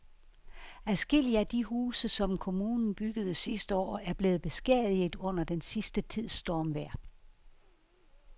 Adskillige af de huse, som kommunen byggede sidste år, er blevet beskadiget under den sidste tids stormvejr.